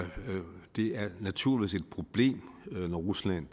naturligvis et problem når rusland